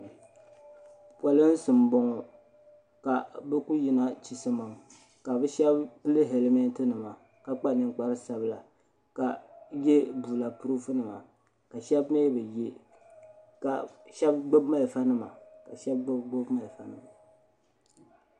polinsi m boŋɔ ka bɛ kuli yina chisimam ka bɛ sheba pili helimenti nima k. kpa ninkpari sabila ka ye bulapurufu nima ka sheba mee bi ye ka sheba gbibi marafa nima ka sheba bi gbibi marafa nima.